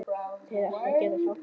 Þeir ættu að geta hjálpað þér.